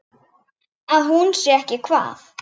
Að hún sé ekki hvað?